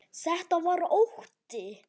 Þetta var ótti.